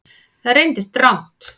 Það reyndist rangt